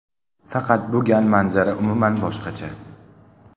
Faqat bu gal manzara umuman boshqacha.